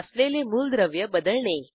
असलेले मूलद्रव्य बदलणे